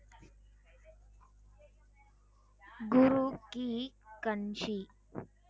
Guru Ki Kanshi